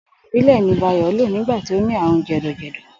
Ògùn ìbílè̩ ni Báyò̩ lò nígbà tí ó ní àrùn jè̩dò̩jè̩dò̩